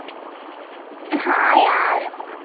હા યાર